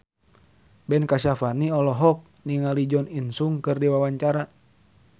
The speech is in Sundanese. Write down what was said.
Ben Kasyafani olohok ningali Jo In Sung keur diwawancara